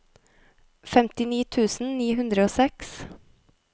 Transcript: femtini tusen ni hundre og seks